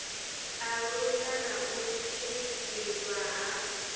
alusa na u tshimbidzwa ha